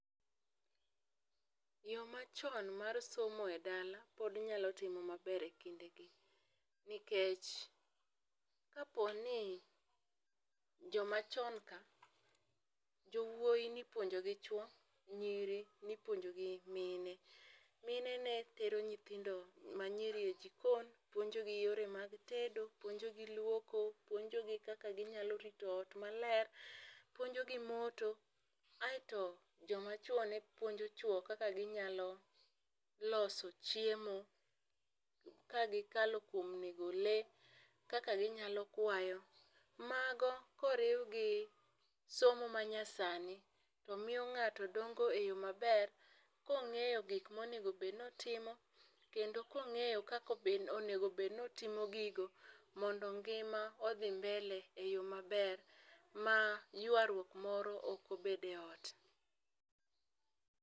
Yoo machon mar somo e dala pod nyalo timo maber e kinde gi nikech, kapo ni joma chon ka jowuoi nipuonjo gi chwo, nyiri nipuonjo gi mine. Mine ne tero nyithndo manyiri e jikon puonjo gi yore mag tedo ,puonjo gi luoko, puonjo gi kaka ginyalo rito ot maler, puonjo gi moto. Kaeto joma chwo ne puonjo chwo kaka ginyalo loso chiemo kagi kalo kuom nego lee, kaka ginyalo kwayo. Mago koriwgi somo ma nyasani to miyo ngato dongo e yoo maber kong'eyo gik monego bed notimo kendo kong'eyo kaka onego bed notimo gigo mondo ngima odhi mbele e yoo maber ma ywarruok moro ok obede ot.